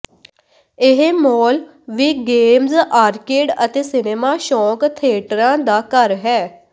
ਇਹ ਮੋਲ ਵੀ games arcade ਅਤੇ ਸਿਨੇਮਾ ਸ਼ੋਕ ਥੀਏਟਰਾਂ ਦਾ ਘਰ ਹੈ